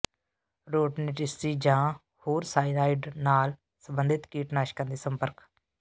ਰੋਡਨੇਟਿਸਚਿ ਜਾਂ ਹੋਰ ਸਾਇਨਾਾਈਡ ਨਾਲ ਸੰਬੰਧਿਤ ਕੀਟਨਾਸ਼ਕਾਂ ਦੇ ਸੰਪਰਕ